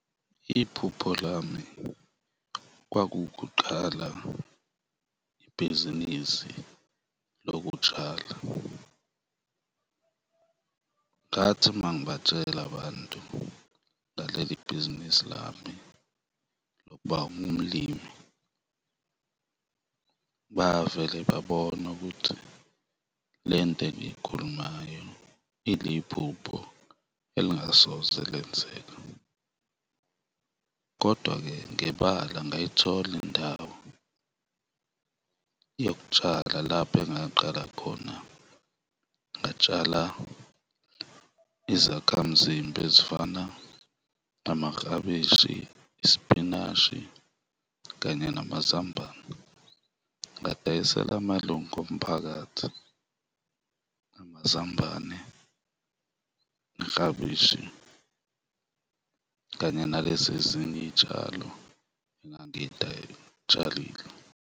Iphupho lami kwaku ukuqala ibhizinisi lokutshala. Ngathi mangibatshela abantu ngaleli bhizinisi lami lokuba umlimi, bavele babona ukuthi le nto engiyikhulumayo iliphupho elingasoze lenzeka kodwa-ke ngebala ngayithola indawo yokutshala lapho engaqala khona, ngatshala izakhamzimba ezifana namaklabishi, isipinashi kanye namazambane, ngadayisela amalunga omphakathi amazambane, Iklabishi kanye nalezi ezinye iy'tshalo engangiyitshalile.